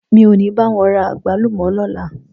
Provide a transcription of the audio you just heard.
Mi ò ní bá wọn ra àgbálùmọ́ lọ́la.